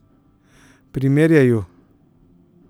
Primerjaj ju.